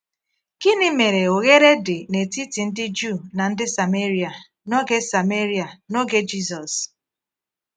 Gịnị mere oghere dị n’etiti ndị Juu na ndị Sameria n’oge Sameria n’oge Jisus?